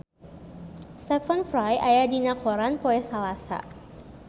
Stephen Fry aya dina koran poe Salasa